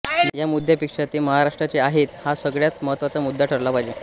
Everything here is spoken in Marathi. या मुद्यापेक्षा ते महाराष्ट्राचे आहेत हा सगळय़ात महत्त्वाचा मुद्दा ठरला पाहिजे